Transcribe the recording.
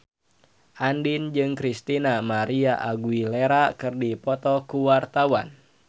Andien jeung Christina María Aguilera keur dipoto ku wartawan